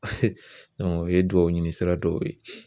un ye duwawuɲini sira dɔw ye